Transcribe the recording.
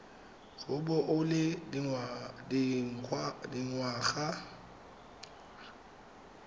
go bo o le dingwaga